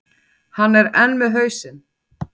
Hann er enn með hausinn.